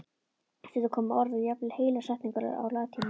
Stundum komu orð og jafnvel heilar setningar á latínu.